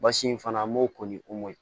Basi in fana an b'o ko ni omori